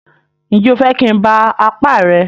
Ǹjẹ́ o fẹ́ kí n ba apá rẹ?